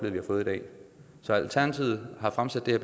så alternativet har fremsat det